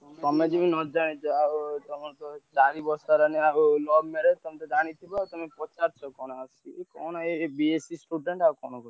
ତମେ ଯେମିତି ନଜାଣିଛ ଆଉ ତମେ ସବୁ ଚାରି ବର୍ଷ ହେଲାଣି ଆଉ love marriage ତମେ ତ ଜାଣିଥିବ ଆଉ ତମେ ପଚାରୁଛ କଣ ସିଏ କଣ ଏଇ B.Sc student ଆଉ କଣ କରୁଛି।